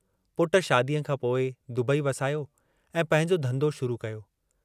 पुट शादीअ खां पोइ दुबई वसायो ऐं पंहिंजो धन्धो शुरू कयो।